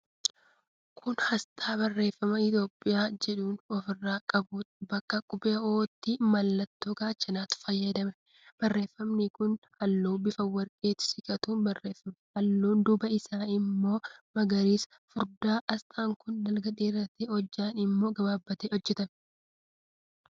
Kun aasxaa barreeffama 'ETHIOPIAN' jedhu ofirraa qabuudha. Bakka qubee 'O'tti mallattoo gaachanaatu fayyadamame. Barreeffamni isaa halluu bifa warqeetti siqatuun barreeffame. Halluun duubaa isaa immoo magariisa furdaadha. Aasxaan kun dalga dheeratee, Hojjaan immoo gabaabbatee hojjetame.